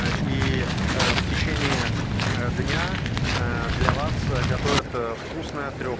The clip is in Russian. а ии в течении дня ээ для вас готовят вкусно трёх